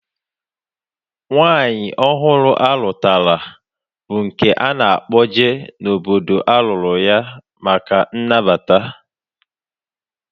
Nwaanyị ọhụrụ a lụtara bụ nke a na-akpọje n'obodo a lụrụ ya maka nnabata